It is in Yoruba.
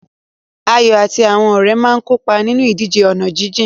Ayo àti àwọn ọ̀rẹ́ máa ń kópa nínú ìdíje ọ̀nà jíjìn.